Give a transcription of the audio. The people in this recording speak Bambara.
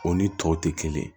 O ni tɔw tɛ kelen ye